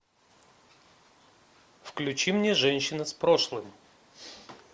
включи мне женщина с прошлым